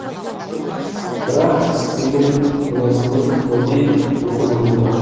бірақ істеген күнәсіне тәубе етіп өкінумен болады